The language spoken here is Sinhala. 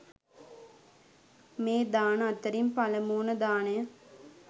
මේ දාන අතරින් පළමුවන දානය